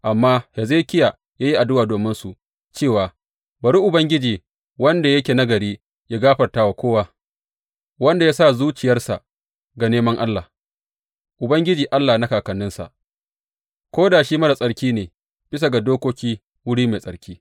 Amma Hezekiya ya yi addu’a dominsu cewa, Bari Ubangiji, wanda yake nagari, yă gafarta wa kowa wanda ya sa zuciyarsa ga neman Allah, Ubangiji Allah na kakanninsa, ko da shi marar tsarki ne bisa ga dokokin wuri mai tsarki.